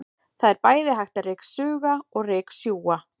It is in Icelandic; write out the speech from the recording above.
Það er bæði hægt að ryksuga og ryksjúga.